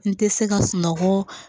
N tɛ se ka sunɔgɔ